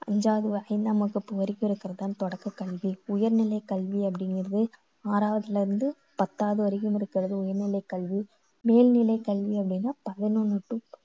அஞ்சாவது வகுப்பு வரைக்கும் இருக்கறது தான் தொடக்க கல்வி. உயர் நிலை கல்வி அப்படிங்கறது ஆறாவதுலேருந்து பத்தாவது வரைக்கும் இருக்குறது உயர் நிலை கல்வி. மேல் நிலை கல்வி அப்படின்னா பதினொண்ணு to